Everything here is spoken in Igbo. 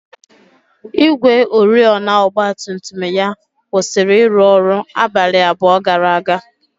ígwè oriọna ọgba tum tum ya kwụsịrị ịrụ ọrụ abalị abụọ gara aga.